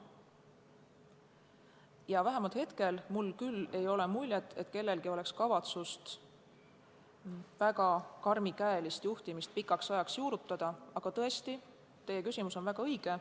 Ja vähemalt hetkel ei ole mul küll muljet, et kellelgi oleks kavatsust väga karmikäelist juhtimist pikaks ajaks juurutada, aga tõesti, teie küsimus on väga õige.